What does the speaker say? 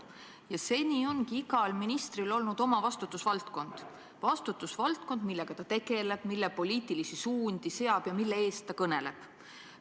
Ja seni ongi igal ministril olnud oma vastutusvaldkond – vastutusvaldkond, millega ta tegeleb, mille poliitilisi suundi seab ja mille eest ta kõneleb.